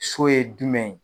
So ye jumɛn ye?